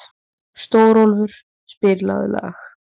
Stórólfur, spilaðu lag.